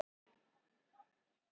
Hörð orð hjá mér?